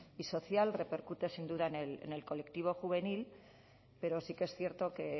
y social repercute sin duda en el colectivo juvenil pero sí que es cierto que